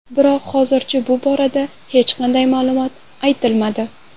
Biroq hozircha bu borada hech qanday ma’lumot aytilmadi.